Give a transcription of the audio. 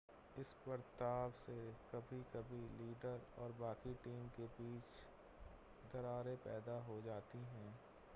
इस बर्ताव से कभी-कभी लीडर और बाकी टीम के बीच दरारें पैदा हो जाती हैं